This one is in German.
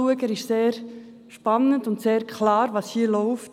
Dieser ist sehr spannend, und es wird sehr klar, was hier läuft.